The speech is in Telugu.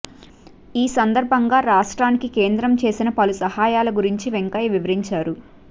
ఈ సందర్బంగా రాష్ట్రానికి కేంద్రం చేసిన పలు సహాయాల గురించి వెంకయ్య వివరించారు